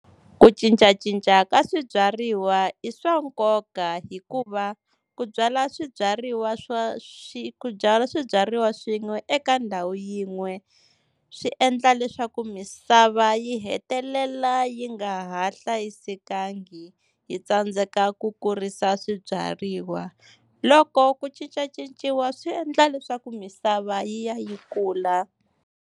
Ku cincacinca ka swibyariwa i swa nkoka hikuva ku byala swibyariwa swa ku byala swibyariwa swin'we eka ndhawu yin'we, swi endla leswaku misava yi hetelela yi nga ha hlayisekangi yi tsandzeka ku kurisa swibyariwa. Loko ku cincacinciwa swi endla leswaku misava yi ya yi kula.